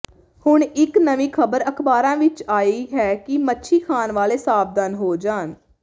ਹੁਣ ਇੱਕ ਨਵੀਂ ਖਬਰ ਅਖਬਾਰਾਂ ਵਿੱਚ ਆਈ ਹੈ ਕਿ ਮੱਛੀ ਖਾਣ ਵਾਲੇ ਸਾਵਧਾਨ ਹੋ ਜਾਣ